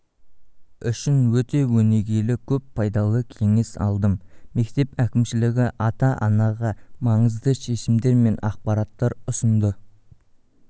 үшін өте өнегелі көп пайдалы кеңес алдым мектеп әкімшілігі ата-анаға маңызды шешімдер мен ақпараттар ұсынды